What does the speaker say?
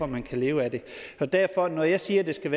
man kan leve af det derfor når jeg siger at det skal